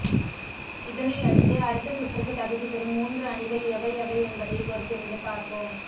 இதனை அடுத்து அடுத்த சுற்றுக்கு தகுதிபெறும் மூன்று அணிகள் எவை எவை என்பதை பொறுத்திருந்து பார்ப்போம்